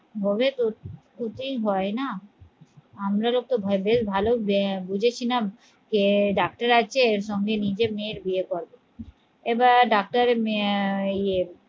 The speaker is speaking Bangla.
হবে তো হতেই হয় না আপনাদেরও তো ভেবে ভালো বুঝেছিলাম যে ডাক্তার আছে সঙ্গে নিজের মেয়ের বিয়ে করবো এবার ডাক্তারের মেয়ে আহ